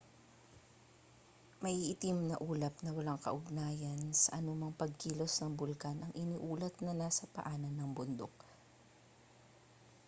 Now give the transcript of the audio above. maiitim na ulap na walang kaugnayan sa anumang pagkilos ng bulkan ang iniulat na nasa paanan ng bundok